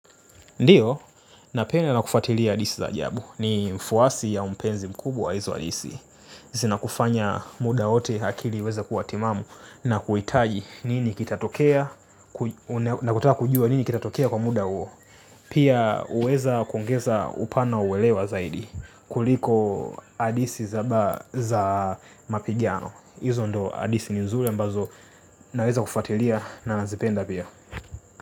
Ndiyo, napenda na kufuatilia hadithi za ajabu. Ni mfuasi au mpenzi mkubwa wa hizi hadithi. Zinakufanya muda wote akili iweze kuwa timamu na kuhitaji. Nini kitatokea kwa muda huo. Pia huweza kuongeza upana wa uelewa zaidi kuliko hadithi za mapigano. Hizo ndizo hadithi nzuri ambazo naweza kufuatilia na nazipenda pia.